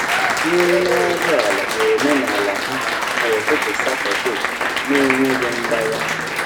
Nri nọdụ ala bụ omenala ha kwa ụtụtụ Satọde na-enweghị mgbagha.